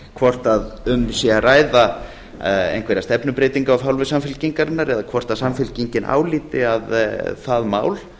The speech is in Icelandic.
hvort um sé að ræða einhverja stefnubreytingu af hálfu samfylkingarinnar eða hvort samfylkingin álíti að það mál